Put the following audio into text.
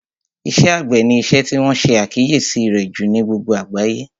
Iṣẹ́ àgbẹ̀ ni isẹ́ tí wọ́n ṣe àkíyèsí rẹ̀ jù ní gbogbo àgbáyé